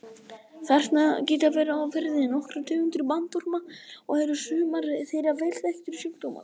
Þarna geta verið á ferðinni nokkrar tegundir bandorma og eru sumar þeirra vel þekktir sjúkdómsvaldar.